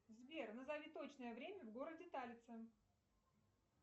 сбер назови точное время в городе талица